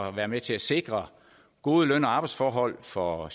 at være med til at sikre gode løn og arbejdsforhold for